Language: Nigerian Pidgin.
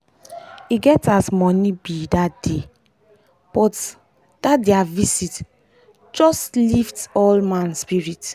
e get as money be dat day but dat dat dia visit just lift all man spirit.